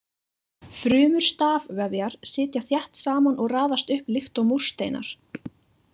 Frumur stafvefjar sitja þétt saman og raðast upp líkt og múrsteinar.